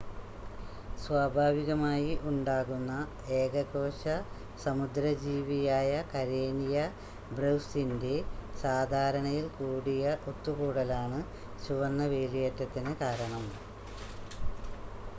സ്വാഭാവികമായി ഉണ്ടാകുന്ന ഏകകോശ സമുദ്ര ജീവിയായ കരേനിയ ബ്രെവിസിൻ്റെ സാധാരണയിൽ കൂടിയ ഒത്തുകൂടലാണ് ചുവന്ന വേലിയേറ്റത്തിന് കാരണം